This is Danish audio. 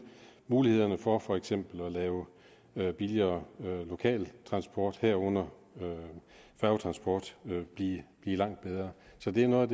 mulighederne for for eksempel at lave billigere lokal transport herunder færgetransport blive langt bedre så det er noget